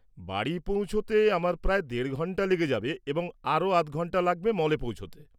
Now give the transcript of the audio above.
বাড়ি পৌঁছোতে আমার প্রায় দেড় ঘন্টা লেগে যাবে এবং আরও আধ ঘন্টা লাগবে মলে পৌঁছোতে।